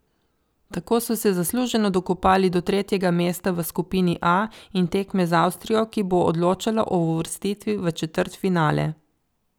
Tako so se zasluženo dokopali do tretjega mesta v skupini A in tekme z Avstrijo, ki bo odločala o uvrstitvi v četrtfinale.